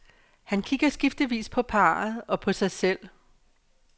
Han kigger skiftevis på parret og på sig selv.